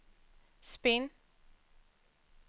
spinn